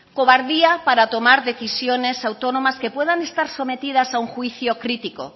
cobardía para tomar decisiones autónomas que puedan estar sometidas a un juicio crítico